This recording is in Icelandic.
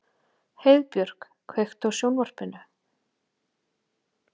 Heiðbjörk, kveiktu á sjónvarpinu.